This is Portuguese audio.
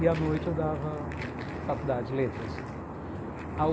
E, à noite, eu dava faculdade, letras.